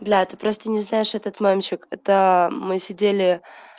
блять ты просто не знаешь этот мемчик это мы сидели